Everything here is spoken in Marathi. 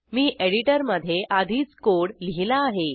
मी एडिटरमधे आधीच कोड लिहिला आहे